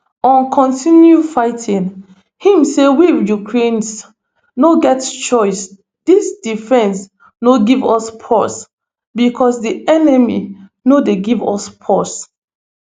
on continuing fighting im say we ukrainians no get choice dis defence no give us pause becos di enemy no dey give us pause